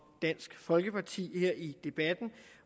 dansk folkeparti her i debatten